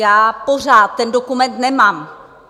Já pořád ten dokument nemám.